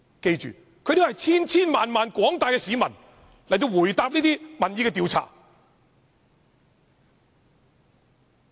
大家要記住，這是廣大市民在民意調查的回答。